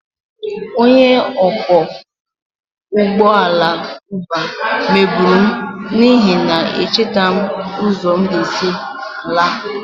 Onye ọkwọ ụgbọ ala Uber megburu m n'ihi na echetaghị m ụzọ m ga-esi laa